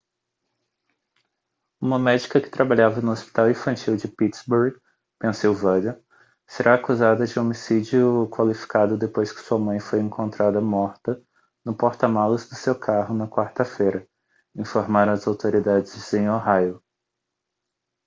uma médica que trabalhava no hospital infantil de pittsburgh pensilvânia será acusada de homicídio qualificado depois que sua mãe foi encontrada morta no porta-malas do seu carro na quarta-feira informaram as autoridades em ohio